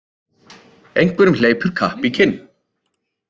Einhverjum hleypur kapp í kinn